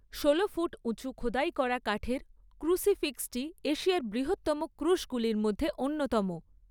ষোলো ফুট উঁচু খোদাই করা কাঠের ক্রুসিফিক্সটি এশিয়ার বৃহত্তম ক্রুশগুলির মধ্যে অন্যতম।